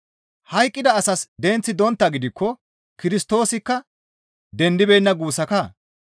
Hayqqida asas denththi donttaa gidikko Kirstoosikka dendibeenna guussakaa?